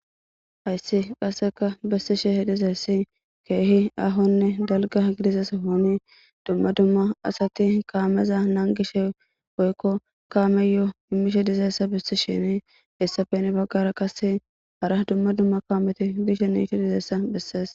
hayssi qasseka bessishehe dizayssi keehi ahonne dalga gidia sohoni dumma dumma asati kaameza naangishe woykko kaameyo imishe dizayssa bessishini hessappe heni baggara qase hara dumma dumma kaameti biishe niti dizeessa bessees